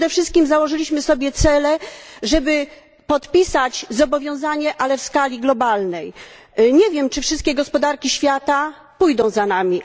Przede wszystkim przyjęliśmy sobie za cel podpisanie zobowiązania, ale w skali globalnej. Nie wiem, czy wszystkie gospodarki świata pójdą za nami.